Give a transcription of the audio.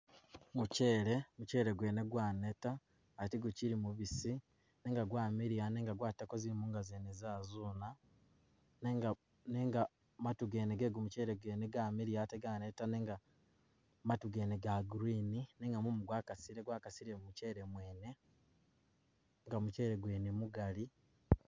Muchele, muchele gwene gwaneta ate gukyili mubisi nenga gwamiliya nenga gwatako zimunga zene zazuna nenga- nenga matu gene gegumuchele gene gamiliya ate ganeta nenga matu gene ga green nenga mumu gwakasile gwakasile mu muchele mwene nenga muchele gwene mugali.